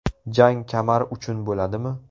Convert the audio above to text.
Jang kamar uchun bo‘ladimi?